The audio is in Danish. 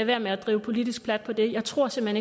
være med at drive politisk plat på det jeg tror simpelt